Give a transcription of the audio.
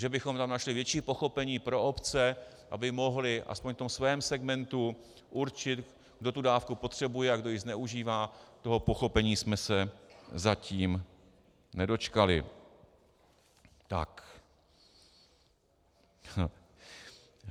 Že bychom tam našli větší pochopení pro obce, aby mohly aspoň v tom svém segmentu určit, kdo tu dávku potřebuje a kdo ji zneužívá, toho pochopení jsme se zatím nedočkali.